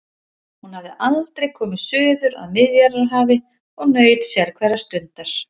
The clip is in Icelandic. Hún hafði aldrei komið suður að Miðjarðarhafi og naut sérhverrar stundar.